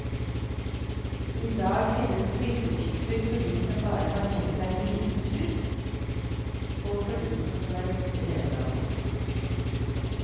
I dag finnes klistertyper for de som bare har tenkt seg en liten tur og for de som skal være borte hele dagen.